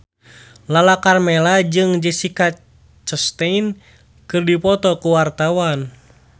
Lala Karmela jeung Jessica Chastain keur dipoto ku wartawan